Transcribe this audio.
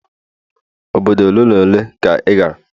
obodo ole n' ole ka ị ga goro?